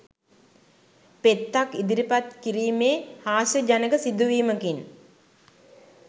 පෙත්තක් ඉදිරිපත් කිරීමේ හාස්‍යජනක සිදුවීමකින්